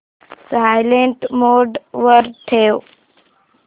silent mode वर ठेव